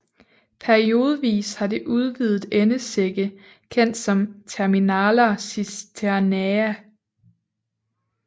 Periodevis har det udvidet endesække kendt som terminala cisternae